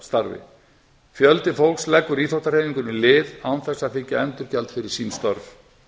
sjálfboðaliðastarfi fjöldi fólks leggur íþróttahreyfingunni lið án þess að þiggja endurgjald fyrir án störf